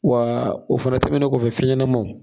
Wa o fana tɛmɛnen kɔfɛ fɛn ɲɛnɛmaw